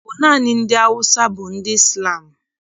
Ọ bụ naanị ndị Awụsa bụ ndị Izlam?